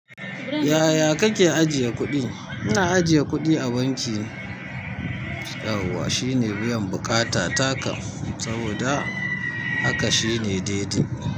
Yaya kake ajiye kuɗi? Ina ajiye kuɗi a banki, yawwa shine biyan buƙata takam saboda haka shine daidai.